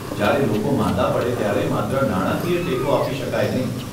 જયારે લોકો માંદા પડે ત્યારે માત્ર નાણાકીય ટેકો આપી શકાય નહીં.